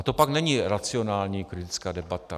A to pak není racionální kritická debata.